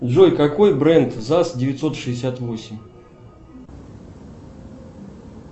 джой какой бренд заз девятьсот шестьдесят восемь